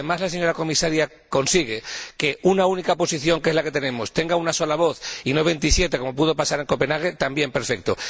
Si, además, la señora Comisaria consigue que una única posición, que es la que tenemos, tenga una sola voz y no veintisiete como pudo pasar en Copenhague, también perfecto.